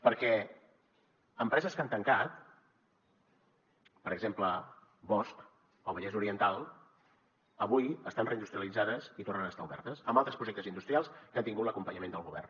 perquè empreses que han tancat per exemple bosch al vallès oriental avui estan reindustrialitzades i tornen a estar obertes amb altres projectes industrials que han tingut l’acompanyament del govern